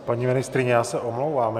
Paní ministryně, já se omlouvám.